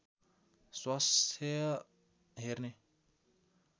स्वास्थ्य हेर्ने